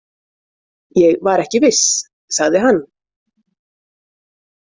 Ég var ekki viss, sagði hann.